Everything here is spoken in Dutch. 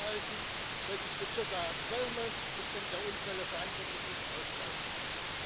Laten we ervoor zorgen dat we ook in de toekomst een pioniersrol kunnen blijven spelen.